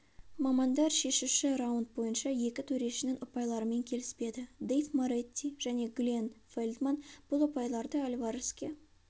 мамандар шешуші раунд бойынша екі төрешінің ұпайларымен келіспеді дэйв моретти және гленн фельдман бұл ұпайларды альвареске